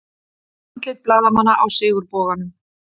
Andlit blaðamanna á Sigurboganum